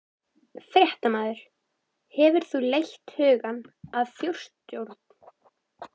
Fréttamaður: Hefur þú leitt hugann að þjóðstjórn?